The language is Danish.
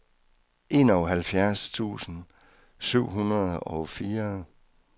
enoghalvfjerds tusind syv hundrede og fire